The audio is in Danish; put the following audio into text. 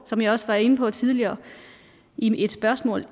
som jeg også var inde på tidligere i et spørgsmål